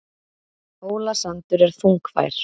Hólasandur er þungfær